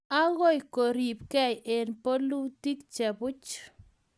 akoi keribgei eng bolutik che puch